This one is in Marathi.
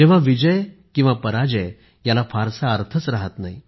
जेव्हा विजय किंवा पराजय याला फारसा अर्थ राहत नाही